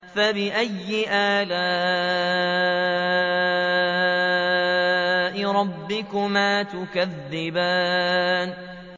فَبِأَيِّ آلَاءِ رَبِّكُمَا تُكَذِّبَانِ